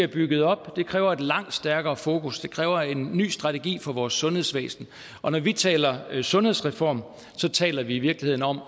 bygget op det kræver et langt stærkere fokus det kræver en ny strategi for vores sundhedsvæsen og når vi taler sundhedsreform taler vi i virkeligheden om